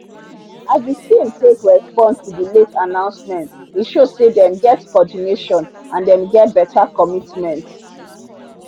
as the team take respond to the late announcement e show say them get coordination and them get better commitment.